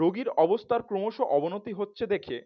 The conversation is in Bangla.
রোগীর অবস্থার ক্রমশ অবনতি হচ্ছে দেখে